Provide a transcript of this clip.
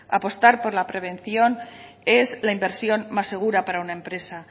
apostar por la prevención es la inversión más segura para una empresa